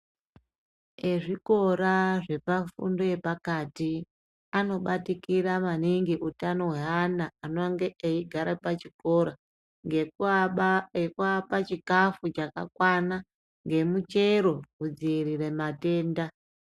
Ezvikora zvepafundo yepakati , anobatikira maningi utano hweana anonge echigara pachikora ngekuapa chikafu chakakwana ngemichero kudziirira matenda.